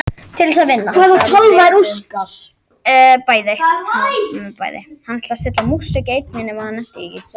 Þegar fram liðu stundir urðu jarðnesku greinarnar veigameiri og þá sérstaklega í stjörnuspeki og stjörnuspáfræði.